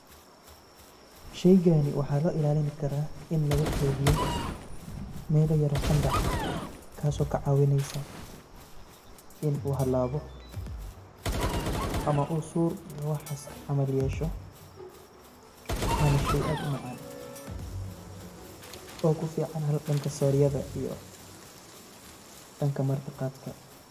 Sheygani waxa laguilalini kara in lagukeydiyo melo yaro qantac ah kaso kacawineyso inu halabo ama sud ama waxas yesho, wana shey aad umacan....... oo kufican danka soryada iyo danka marti qadka.